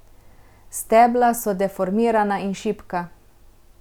Stebla so deformirana in šibka.